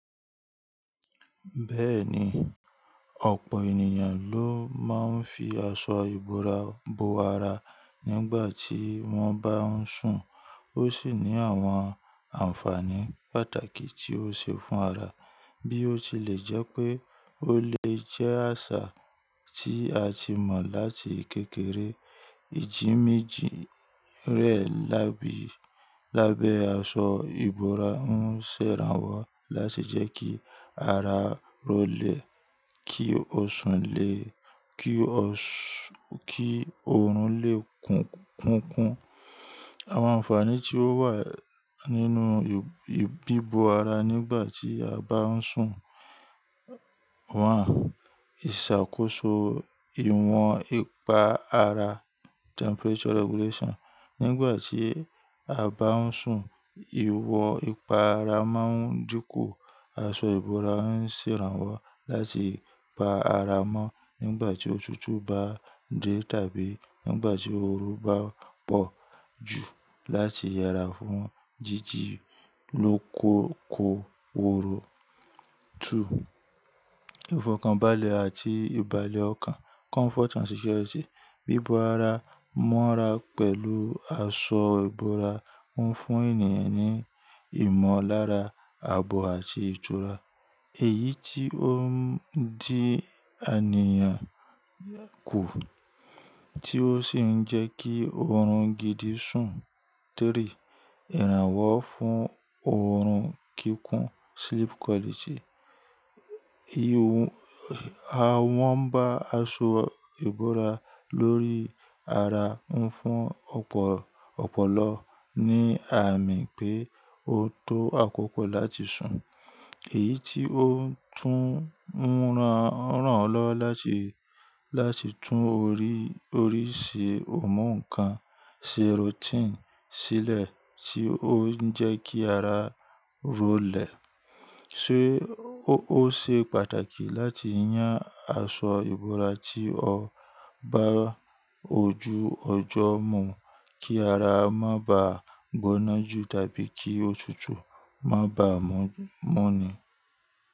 Bẹ́ẹ̀ni, ọ̀pọ̀ ènìyàn ló máa ń fi aṣọ ìbora bo ara nígbà tí wọ́n bá ń sùn. Ó sì ní àwọn ànfàní pàtàkì tí ó ṣe fún ara. Bí ó tilẹ̀ jẹ́ pé ó lè jẹ́ àṣà tí a ti mọ̀ láti kékeré. Ìjì méjì rẹ̀ lábẹ́ aṣọ ìbora ń ṣèrànwọ́ láti jẹ́ kí ara ro lè, kí o sùn lè, kí oorun lè kunkun. Àwọn ànfàní tí ó wà nínú bíbo ara nígbà tí a bá ń sùn. Wọ́n ìṣàkóso ìwọ̀n ipa ara, temperature regulation. Nígbà tí a bá ń sùn, ìwọ̀n ipa ara máa ń dínkù. Aṣọ ìbora ń ṣèrànwọ́ láti pa ara mọ́ nígbà tí òtútù bá dé tàbí nígbà tí oorun bá pọ̀ jù láti yera fún jíjílòkòko oorun. 2. Ìfọ̀kànbalẹ̀ àti ìbàlẹ̀ ọkàn, comfort and security. Bíbo ara mọ́ra pẹ̀lú aṣọ ìbora ń fún ènìyàn ní ìmọ̀lára, àbò àti ìtura. Èyí tí ó ń dí àníyàn kù, tí ó sì ń jẹ́ kí oorun gidi sùn. 3. Ìrànwọ́ fún oorun kíkún, sleep quality. Wọ́n bá aṣọ ìbora lórí ara ń fún ọ̀pọ̀lọpọ̀ ní àmì pé ó tó àkókò láti sùn. Èyí tí ó tún ń ràn ọ́ lọ́wọ́ láti tún oríṣi ọ̀mùǹkan, serotonin sílẹ̀ tí ó ń jẹ́ kí ara ro lè. Ṣé ó ṣe pàtàkì láti yán aṣọ ìbora tí ó bá ojú ọjọ́ mú kí ara má ba gbóná jù tàbí kí òtútù má bá mu ni?